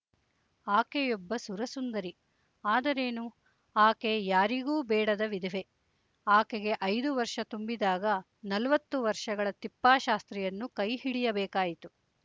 ಆಕೆಯೊಬ್ಬ ಸುರಸುಂದರಿ ಆದರೇನು ಆಕೆ ಯಾರಿಗೂ ಬೇಡದ ವಿಧವೆ ಆಕೆಗೆ ಐದು ವರ್ಷ ತುಂಬಿದಾಗ ನಲವತ್ತು ವರ್ಷಗಳ ತಿಪ್ಪಾಶಾಸ್ತ್ರಿಯನ್ನು ಕೈಹಿಡಿಯಬೇಕಾಯಿತು